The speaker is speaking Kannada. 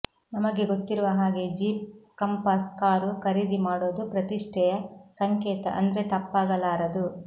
ನಮಗೆ ಗೊತ್ತಿರುವ ಹಾಗೇ ಜೀಪ್ ಕಂಪಾಸ್ ಕಾರು ಖರೀದಿ ಮಾಡೋದು ಪ್ರತಿಷ್ಠೆಯ ಸಂಕೇತ ಅಂದ್ರೆ ತಪ್ಪಾಗಲಾರದು